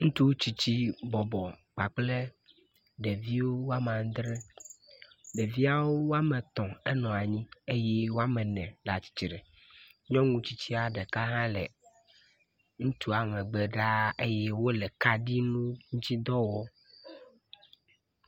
Ŋutsuxo tsitsi bɔbɔ kpakple ɖevi woame adre. Ɖeviawo woame etɔ̃ enɔ anyi eye woame ene le atsitre. Nyɔnu tsitsia ɖeka hã le ŋutsua megbe ɖaa eye wole kaɖi ŋutidɔ wɔm.